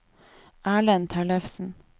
Erlend Tellefsen